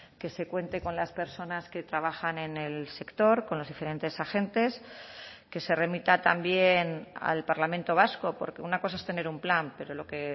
que se cuente con las personas que trabajan en el sector con los diferentes agentes que se remita también al parlamento vasco porque una cosa es tener un plan pero lo que